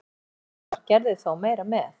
Fyrstu tvö árin var Gerður þó meira með.